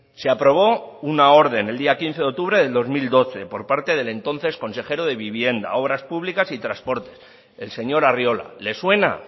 se aprobó una orden el día quince de octubre del dos mil doce por parte del entonces consejero de vivienda obras públicas y transporte el señor arriola le suena